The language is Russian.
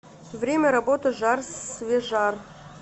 время работы жар свежар